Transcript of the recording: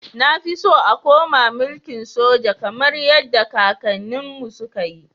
Nafi so a koma milkin soja kamar yadda kakannin mu su kayi